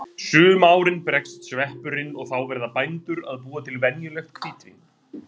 Sum árin bregst sveppurinn og þá verða bændur að búa til venjulegt hvítvín.